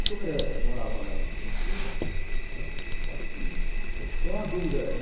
E como ele morava lá em Curitiba, né, acho que ficou uma dúvida.